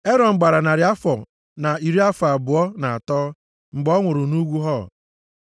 Erọn gbara narị afọ na iri afọ abụọ na atọ mgbe ọ nwụrụ nʼugwu Hor.